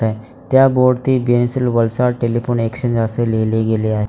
त्या board pencil Valsad telephone exchange असे लिहिले गेले आहेत.